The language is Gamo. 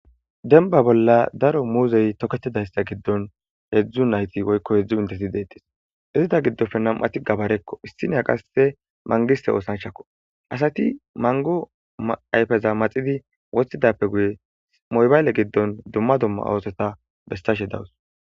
denba bolla daro muuzey tokettidaysta giddon heedzdzu nayti woykko hedzdzu mintesi deettes izida giddofe nam7ati gabarekko issiniya qasse mangiste oosanchakko asati mango ayfeza maxidi wostidappe guye moybayle giddon dumma dumma awoseta bestashe dawus